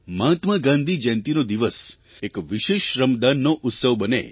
મહાત્મા ગાંધી જયંતિનો દિવસ એક વિશેષ શ્રમદાનનો ઉત્સવ બને